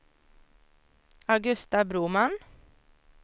Augusta Broman